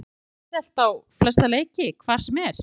Viljum við ekki sjá uppselt á flesta leiki hvar sem er?